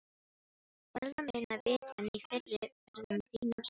Varla minna vit en í fyrri ferðum þínum, sagði hún.